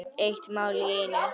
Eitt mál í einu.